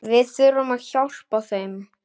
Við þurfum að hjálpa þeim.